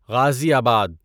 غازی آباد